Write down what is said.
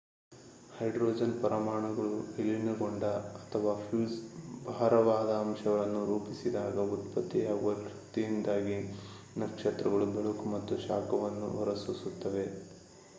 hydrogen ಪರಮಾಣುಗಳು ವಿಲೀನಗೊಂಡಾಗ ಅಥವಾ ಫ್ಯೂಸ್ ಭಾರವಾದ ಅಂಶಗಳನ್ನು ರೂಪಿಸಿದಾಗ ಉತ್ಪತ್ತಿಯಾಗುವ ಶಕ್ತಿಯಿಂದಾಗಿ ನಕ್ಷತ್ರಗಳು ಬೆಳಕು ಮತ್ತು ಶಾಖವನ್ನು ಹೊರಸೂಸುತ್ತವೆ